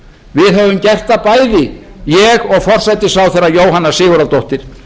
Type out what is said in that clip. við höfum gert það bæði ég og forsætisráðherra jóhanna sigurðardóttir